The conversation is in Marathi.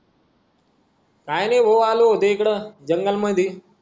कायनाय भाऊ आलो होतो येते जंगल मधी